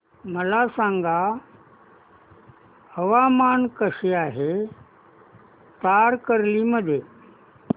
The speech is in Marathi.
मला सांगा हवामान कसे आहे तारकर्ली मध्ये